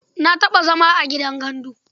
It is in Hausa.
Na taɓa zama a gidan gandu.